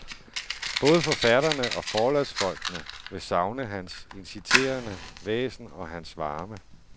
Både forfatterne og forlagsfolkene vil savne hans inciterende væsen og hans varme.